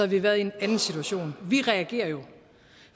vi været i en anden situation vi reagerer jo